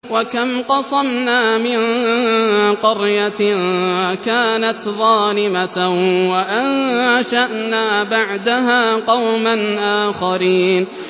وَكَمْ قَصَمْنَا مِن قَرْيَةٍ كَانَتْ ظَالِمَةً وَأَنشَأْنَا بَعْدَهَا قَوْمًا آخَرِينَ